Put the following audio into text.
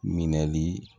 Minɛli